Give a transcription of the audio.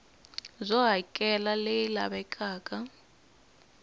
byo hakela r leyi lavekaka